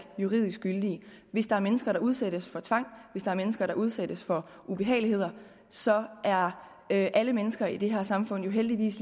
juridisk gyldige hvis der er mennesker der udsættes for tvang hvis der er mennesker der udsættes for ubehageligheder så er er alle mennesker i det her samfund jo heldigvis